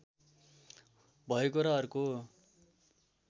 भएको र अर्को